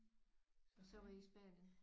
Og så var I i Spanien?